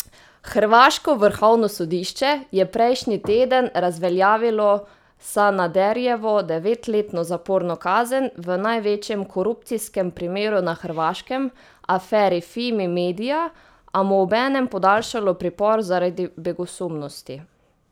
Hrvaško vrhovno sodišče je prejšnji teden razveljavilo Sanaderjevo devetletno zaporno kazen v največjem korupcijskem primeru na Hrvaškem, aferi Fimi media, a mu obenem podaljšalo pripor zaradi begosumnosti.